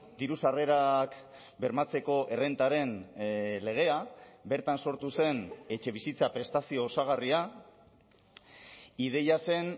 diru sarrerak bermatzeko errentaren legea bertan sortu zen etxebizitza prestazio osagarria ideia zen